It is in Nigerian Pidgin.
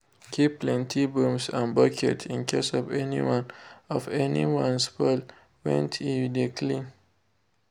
keep plenty brooms and buckets in case of anyone of anyone spoil went e you de clean.